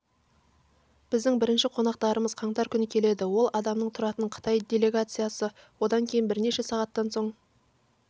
біздің бірінші қонақтарымыз қаңтар күні келеді ол адамнан тұратын қытай делегациясы одан кейін бірнеше сағаттан соң